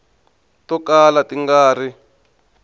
to kala ti nga ri